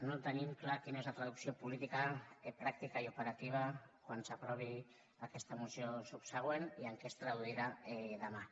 no tenim clar quina és la traducció política pràctica i operativa quan s’aprovi aquesta moció subsegüent i en què es traduirà demà